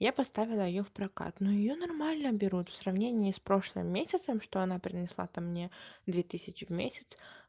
я поставила её в прокат но её нормально берут в сравнении с прошлым месяцем что она принесла то мне две тысячи в месяц